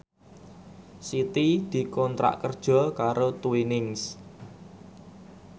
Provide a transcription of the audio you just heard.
Siti dikontrak kerja karo Twinings